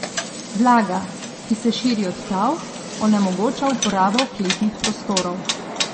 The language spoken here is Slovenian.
Vlaga, ki se širi od tal, onemogoča uporabo kletnih prostorov.